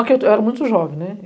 que eu era muito jovem, né.